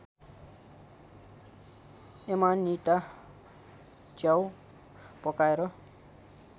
Amanita च्याउ पकाएर